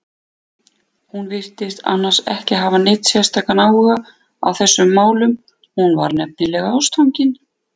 Hún virtist annars ekki hafa neinn sérstakan áhuga á þessum málum, hún var nefnilega ástfangin.